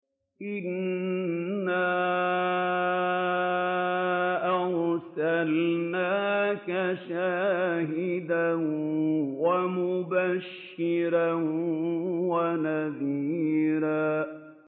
إِنَّا أَرْسَلْنَاكَ شَاهِدًا وَمُبَشِّرًا وَنَذِيرًا